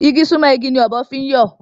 Igi sunmọ igi ni ọ̀bọ fi ń yọ